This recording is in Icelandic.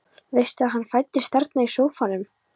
Veistu að hann fæddist þarna í sófanum?